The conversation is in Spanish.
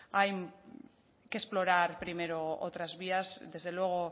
hay que explorar primero otras vías desde luego